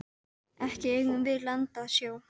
Ekki eigum við land að sjó.